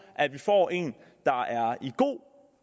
at vi får en god